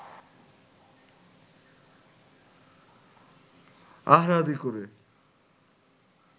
আহারাদি করে